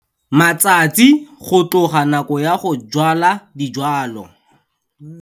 Matsatsi go tloga nako ya go jwala dijwalwa.